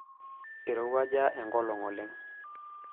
Eirowuaja enkolong' oleng'.